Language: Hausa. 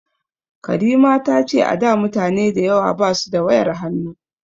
Karima ta ce a da mutane dayawa ba su da wayar hannu